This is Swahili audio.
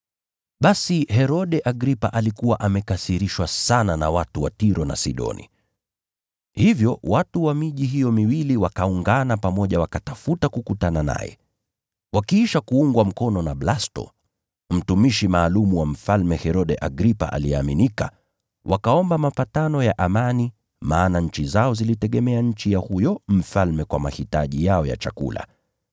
Basi Herode Agripa alikuwa amekasirishwa sana na watu wa Tiro na Sidoni. Hivyo watu wa miji hiyo miwili wakaungana pamoja wakatafuta kukutana naye. Wakiisha kuungwa mkono na Blasto, mtumishi maalum wa Mfalme Herode Agripa aliyeaminika, wakaomba mapatano ya amani maana nchi zao zilitegemea nchi ya huyo mfalme kwa mahitaji yao ya chakula.